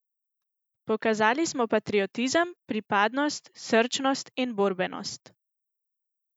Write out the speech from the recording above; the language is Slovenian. Pokazali smo patriotizem, pripadnost, srčnost in borbenost.